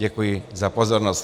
Děkuji za pozornost.